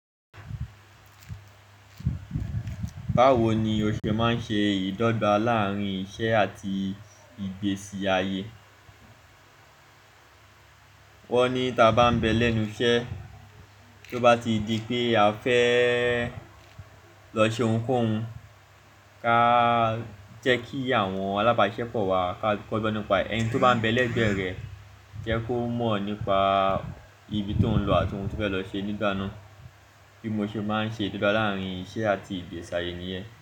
Báwo ni o ṣe máa ń ṣe ìdọ́gba láàárín iṣẹ́ àti ìgbésí ayé? Wọ́n ní tí a bá ń bẹ lẹ́nu iṣẹ́, tí ó bá ti di pé a fẹ́ lọ ṣe ohunkóhun, ka jẹ́ kí àwọn alábáṣepọ̀ wa, ká kọ ọ́ nípa ẹ̀ ẹni tí ó bá ń bẹ lẹ́gbẹ̀ẹ́ rẹ, jẹ́ kó mọ̀ nípa ibi tó ń lọ àti ohun tí o fẹ́ lọ ṣe nígbà náà. Bí mo ṣe máa ń ṣe ìdọ́gba láàárín iṣẹ́ àti ìgbésí ayé nìyẹn.